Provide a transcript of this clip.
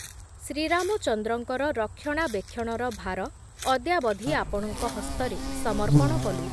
ଶ୍ରୀରାମଚନ୍ଦ୍ରଙ୍କର ରକ୍ଷଣାବେକ୍ଷଣର ଭାର ଅଦ୍ୟାବଧି ଆପଣଙ୍କ ହସ୍ତରେ ସମର୍ପଣ କଲୁ ।